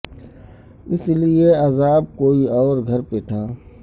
اس کے لئے عذاب کوئی اور گھر پہ تھا